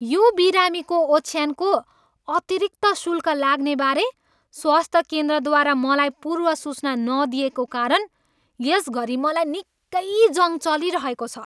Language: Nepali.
यो बिरामीको ओछ्यानको अतिरिक्त शूल्क लाग्नेबारे स्वास्थ्य केन्द्रद्वारा मलाई पूर्वसूचना नदिइएको कारण यस घरी मलाई निक्कै जङ् चलिरहेको छ।